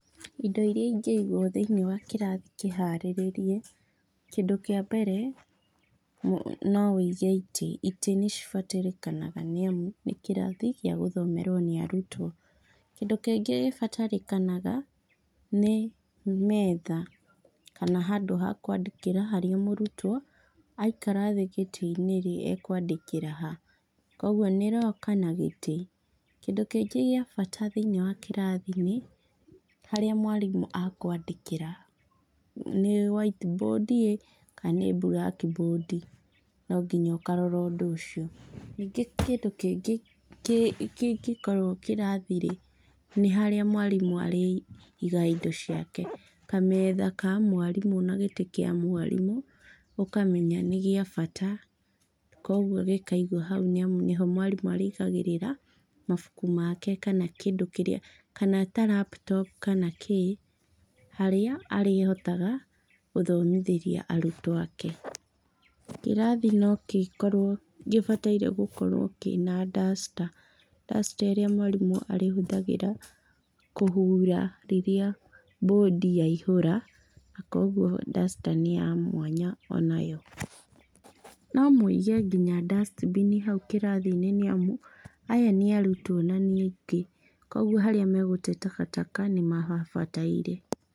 Indo iria ingĩigũo thĩinĩ wa kĩrathi kĩharĩrĩrie, kĩndũ kĩa mbere no wige itĩ, itĩ nĩcibatarĩkanagia nĩ amu nĩ kĩrathi gĩa gũthomerũo nĩ arutũo. Kĩndũ kĩngĩ gĩbatarĩkanaga nĩ metha kana handũ ha kũandĩkĩra haria mũrutwo aikara thĩĩ gĩtĩinĩ-ri ekwandĩkĩra ha? Koguo nĩ locker na gĩtĩ kĩndũ kĩngĩ gia bata thĩinĩ wa kĩrathi nĩ harĩa mwarimu akwandĩkĩra. Nĩ whiteboard kana nĩ blackboard ? No nginya ũkarora ũndũ ũcio nyingi kindũ kĩngĩ kĩngĩkorũo kĩrathi-rĩ nĩ harĩa mwarimu arĩigaga indo ciake kametha Ka mwarimu na gĩtĩ kia mwarimu ũkamenya nĩ gĩa bata koguo gĩkaigũo hau nĩ amu nĩho mwarimu arĩigagĩrĩra mabuku make kana kĩndũ kĩrĩa kana ta laptop kana kĩĩ haria arĩhotaga gũthomithĩria arutwo ake. Kĩrathi no gĩkoruo nĩ gibataire gũkorũo kĩna duster, duster ĩrĩa mwarimu arĩtũmagĩra kũhura rĩrĩa board yaihũra kũhũra koguo duster nĩ ya mwanya onayo. No mwige nginya dustbin hau kĩrathi-inĩ nĩ amu aya nĩ arutwo na nyingĩ koguo harĩa magũtee takataka nĩ mahabataire.